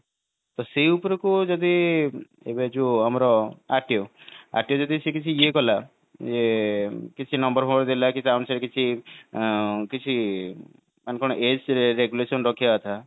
ତ ସେଇ ଉପରକୁ ଯଦି ତ ଏବେ ଯୋଉ ଆମର RTO ଯଦି ସେଠି ସେ ଇଏ କଲା ଏ କିଛି number ଫମ୍ବର ଦେଲା କି ତା ଅନୁସାରେ କିଛି ଆଁ କିଛି ମାନେ କଣ age regulation ରଖିବା କଥା